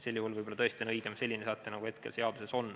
Sel juhul võib-olla tõesti on õigem selline säte, nagu hetkel seaduses on.